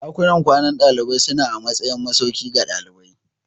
Dakunan kwanan dalibai suna a matsayin masauki ga dalibai.